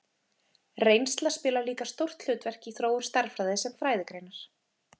Reynsla spilar líka stórt hlutverk í þróun stærðfræði sem fræðigreinar.